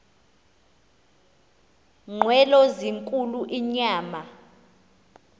nqwelo zinkulu inyama